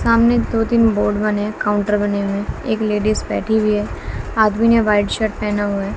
सामने दो-तीन बोर्ड बने हें काउंटर बने हुए हें एक लेडीज बैठी हुई है आदमी ने व्हाइट शर्ट पेहना हुआ है।